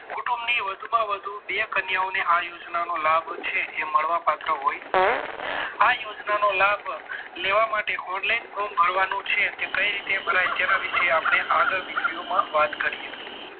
કુટુંબની વધુમાં વધુ બે કન્યાઓને આ યોજનાનો લાભ છે એ મળવાપાત્ર હોય છે આ યોજનાનો લાભ લેવા માટે online ફોર્મ ભરવાનું છે તે કઈ રીતના ભરાય તેના વિશે આગળ વીડિયોમાં વાત કરીએ